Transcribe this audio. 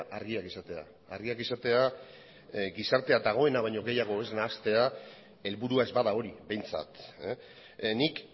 argiak izatea argiak izatea gizartea dagoena baino gehiago ez nahastea helburua ez bada hori behintzat nik